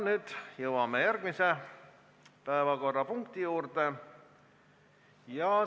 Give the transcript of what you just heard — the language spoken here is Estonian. Nüüd jõuame järgmise päevakorrapunkti juurde.